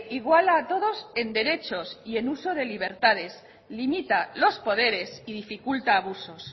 iguala todos en derechos y en uso de libertades limita los poderes y dificulta abusos